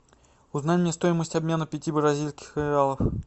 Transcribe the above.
узнай мне стоимость обмена пяти бразильских реалов